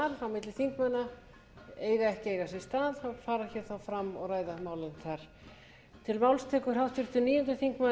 milli þingmanna eiga ekki að eiga sér stað en fara þá hér fram og ræða málin þar